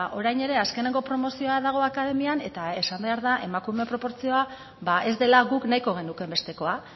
orain ere azkeneko promozioa dago akademian eta esan behar da emakume proportzioa ba ez dela guk nahiko genukeen bestekoa